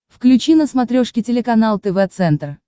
включи на смотрешке телеканал тв центр